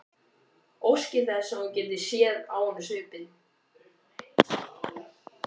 Óski þess að hún gæti séð á honum svipinn.